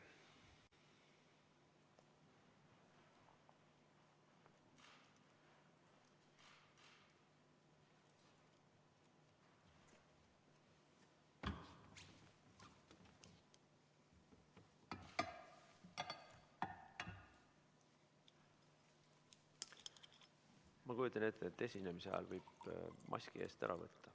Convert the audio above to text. Ma kujutan ette, et esinemise ajal võib maski eest ära võtta.